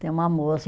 Tem uma moça.